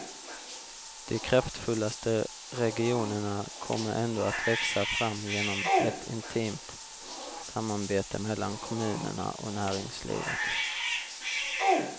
De kraftfullaste regionerna kommer ändå att växa fram genom ett intimt samarbete mellan kommunerna och näringslivet.